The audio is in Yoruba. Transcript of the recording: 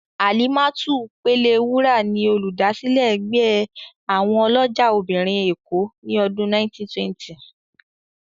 Alimatu Pelewura ni Olùdásílẹ̀ ẹgbẹ́ àwọn ọlọ́jà obìnrin èkó ni ọdún 1920.